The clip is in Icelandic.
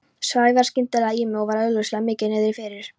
Sævar skyndilega í mig og var augljóslega mikið niðri fyrir.